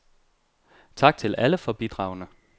Tak til alle for bidragene.